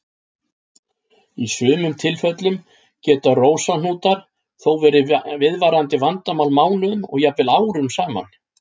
Í sumum tilfellum geta rósahnútar þó verið viðvarandi vandamál mánuðum og jafnvel árum saman.